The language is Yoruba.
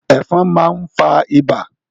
Ẹ̀fọn máa ń fa ibà.